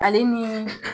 Ale ni